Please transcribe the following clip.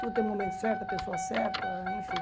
Tudo tem um momento certo, a pessoa certa, enfim.